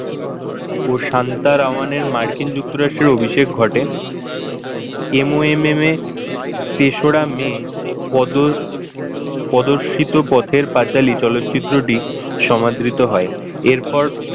ও শান্ত রাওয়ানের মার্কিন যুক্তরাষ্ট্রের অভিষেক ঘটে MOMM এ তেসুরা may পদ প্রদর্শিত পথের পাঁচালী চলচ্চিত্রটি সমাদৃত হয় এরপর,